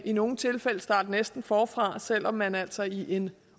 i nogle tilfælde starte næsten forfra selv om man altså i en